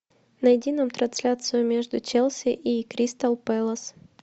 найди нам трансляцию между челси и кристал пэлас